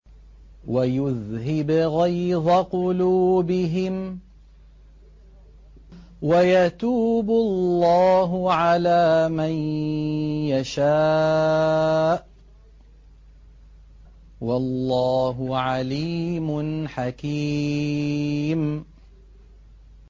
وَيُذْهِبْ غَيْظَ قُلُوبِهِمْ ۗ وَيَتُوبُ اللَّهُ عَلَىٰ مَن يَشَاءُ ۗ وَاللَّهُ عَلِيمٌ حَكِيمٌ